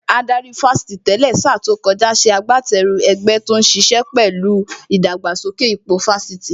Adarí Fásitì tẹ́lẹ̀ sa tó kọjá ṣe agbateru ẹgbẹ́ tó níṣe pẹ̀lú ìdàgbàsókè ipò Fásitì